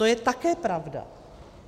To je také pravda.